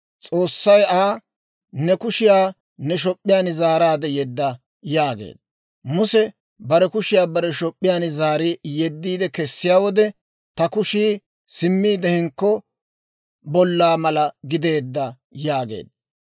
S'oossay Aa, «Ne kushiyaa ne shop'p'iyaan zaaraade yedda» yaageedda. Muse bare kushiyaa bare shop'p'iyaan zaari yediidde kessiyaa wode, «ta kushii simmiide hinkko bollaa mala gideedda» yaageedda.